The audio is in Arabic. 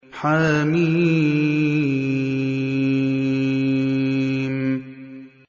حم